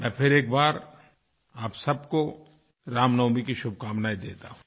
मैं फिर एक बार आप सबको रामनवमी की शुभकामनाएँ देता हूँ